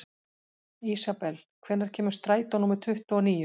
Ísabel, hvenær kemur strætó númer tuttugu og níu?